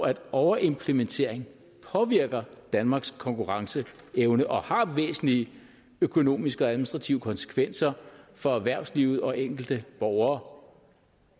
at overimplementering påvirker danmarks konkurrenceevne og har væsentlige økonomiske og administrative konsekvenser for erhvervslivet og enkelte borgere